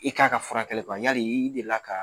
I k'a ka furakɛli yali i delila ka